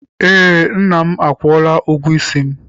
Ee, nna m akwụọla ụgwọ isi m.